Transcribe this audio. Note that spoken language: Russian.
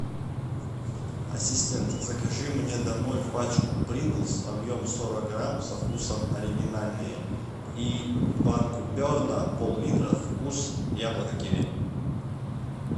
ассистент закажи мне домой пачку принглс объем сорок грамм со вкусом оригинальные и банку берна поллитра вкус яблоко киви